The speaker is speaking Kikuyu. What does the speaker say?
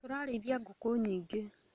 Tũrarĩithia ngũkũnyingĩ